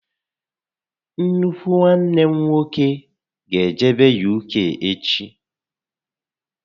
Nnukwu nwanne m nwoke gá ejebe UK echi